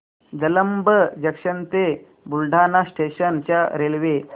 Jalamb junction ते Buldhana station च्या railway